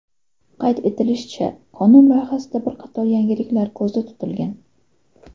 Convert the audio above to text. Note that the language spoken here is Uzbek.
Qayd etilishicha, qonun loyihasida bir qator yangiliklar ko‘zda tutilgan.